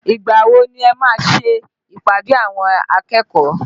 Ìgbà wo ni ẹ máa ń ṣe ìpàdé àwọn akẹ́kọ̀ọ́?